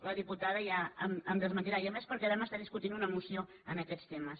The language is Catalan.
la diputada ja em desmentirà i a més perquè vam estar discutint una moció d’aquests temes